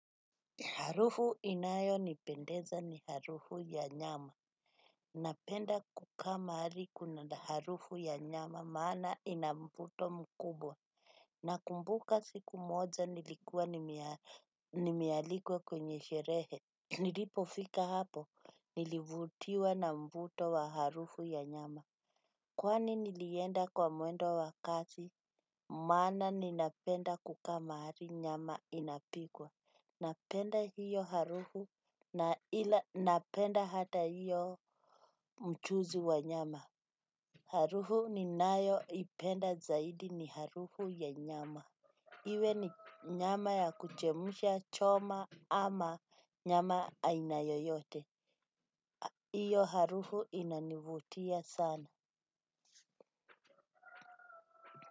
Harufu inayo nipendeza ni harufu ya nyama. Napenda kuka maari kuna harufu ya nyama maana inamvuto mkubwa. Nakumbuka siku moja nilikuwa nimealikwa kwenye sherehe. Nilipofika hapo, nilivutiwa na mvuto wa harufu ya nyama. Kwani nilienda kwa muendo wakati maana ninapenda kuka maari nyama inapikwa. Napenda hiyo harufu na ila napenda hata hiyo mchuzi wa nyama. Harufu ni nayo ipenda zaidi ni harufu ya nyama. Iwe ni nyama ya kuchemusha choma ama nyama aina yoyote. Iyo harufu inanivutia sana.